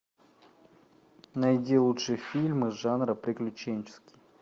найди лучшие фильмы жанра приключенческий